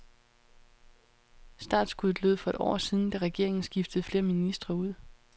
Startskuddet lød for et år siden, da regeringen skiftede flere ministre ud.